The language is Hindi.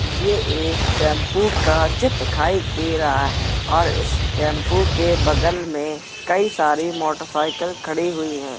ये एक टेम्पू का चित दिखाई दे रहा है और इस टेम्पू के बगल में कई सारी मोटरसाइकिल खड़ी हुई हैं।